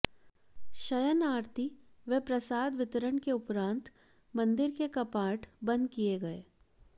शयन आरती व प्रसाद वितरण के उपरांत मंदिर के कपाट बंद किए गए